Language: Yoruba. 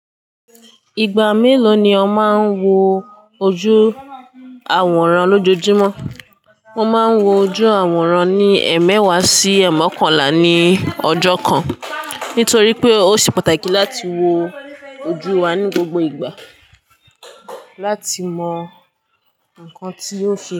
Ìgbà mélòó ni o máa ń wo ojú àwòrán lójoojúmọ́? Mo máa ń wo ojú àwòrán ní ẹẹmẹwa sí ẹẹmọkànlá ní ọjọ́ kan. Nítorí pé ó ṣe pàtàkì láti wo ojú wa ní gbogbo ìgbà láti mọ nǹkan tí ó ń sẹ́